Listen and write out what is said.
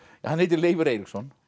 hann heitir Leifur Eiríksson